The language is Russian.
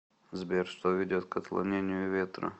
сбер что ведет к отклонению ветра